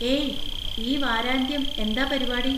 ഏയ്! ഈ വാരാന്ത്യം എന്താ പരിപാടി?